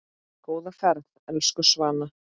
Góða ferð, elsku Svana.